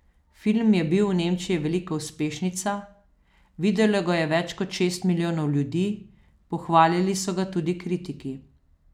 Film je bil v Nemčiji velika uspešnica, videlo ga je več kot šest milijonov ljudi, pohvalili so ga tudi kritiki.